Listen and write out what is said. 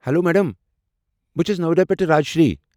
Hello madam, بہٕ چھس نویڈا پٮ۪ٹھہٕ راج شری۔